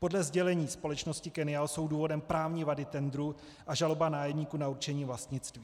Podle sdělení společnosti Kennial jsou důvodem právní vady tendru a žaloba nájemníků na určení vlastnictví.